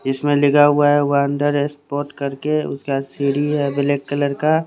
इसमें लिखा हुआ है वंडर स्पोर्ट करके उसका सीढी है ब्लैक कलर का--